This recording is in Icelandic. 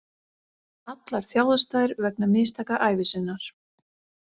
Allar þjáðust þær vegna mistaka ævi sinnar.